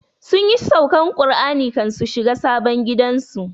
Sunyi saukan Kur'ani kan su shiga sabon gidan su